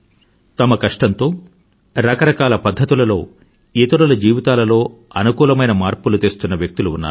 తమ కష్టంతో రకరకాల పధ్ధతులలో ఇతరుల జీవితాలలో అనుకూలమైన మార్పులను తెస్తున్న వ్యక్తులు ఉన్నారు